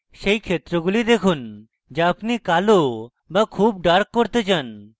সেই ক্ষেত্রগুলি দেখুন যা আপনি কালো বা খুব dark করতে চান